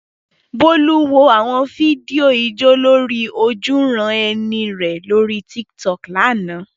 Bolu wo àwọn fídíò ijó lórí ojúuran-ẹni rẹ̀ lórí Tiktok lánàá.